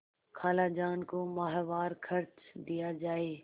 खालाजान को माहवार खर्च दिया जाय